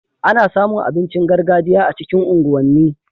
Ana samu abincin gargajiya a cikin unguwan ni